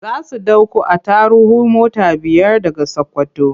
Za su ɗauko attaruhu mota biyar daga Sakkwato.